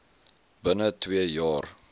binne twee jaar